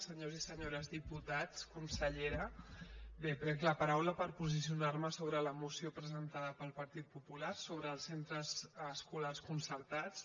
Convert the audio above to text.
senyors i senyores diputats consellera bé prenc la paraula per posicionar me sobre la moció presentada pel partit popular sobre els centres escolars concertats